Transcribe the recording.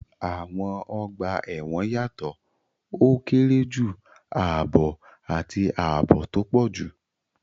Àwọn ọgbà ẹ̀wọ̀n yàtọ̀: ó kéré jù, ààbọ̀, àti ààbò tó pọ̀ jù.